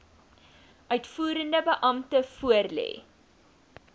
uitvoerende beampte voorlê